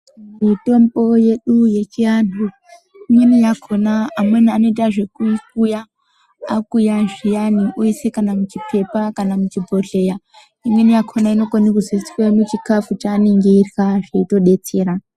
Mitombo yedu yechiantu imweni yakona amweni anoita zvekuikuya akuuya zviyani oisa kana muchipepa kana muchibhohleya imweni yakona inozoiswa muchikafu pavanenge veirya yotodetsera.